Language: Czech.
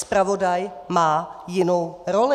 Zpravodaj má jinou roli.